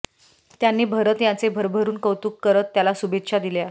त्यांनी भरत याचे भरभरून कौतुक करत त्याला शुभेच्छा दिल्या